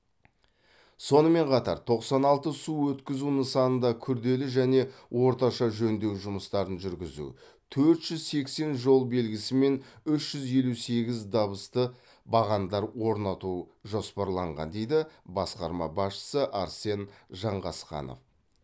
сонымен қатар тоқсан алты су өткізу нысанында күрделі және орташа жөндеу жұмыстарын жүргізу төрт жүз сексен жол белгісі мен үш жүз елу сегіз дабысты бағандар орнату жоспарланған дейді басқарма басшысы арсен жанғасқанов